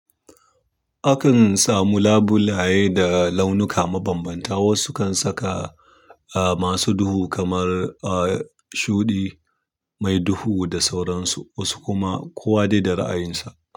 Akan samu labulaye da launuka mabambanta. Wasu kan saka, masu duhu kamar, m shuɗi mai duhu da sauransu, wasu kuma kowa dai da ra'ayinsa.